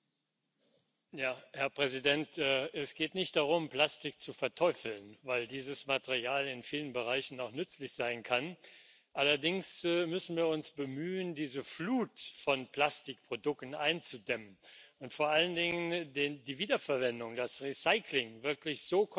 ist. Es ist die Zeit gekommen für die Idee, dass der Plastikmüll weg muss nicht weggeworfen werden muss, sondern gar nicht erst entstehen darf. Und deswegen möchte